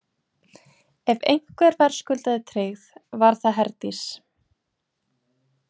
Ef einhver verðskuldaði tryggð var það Herdís.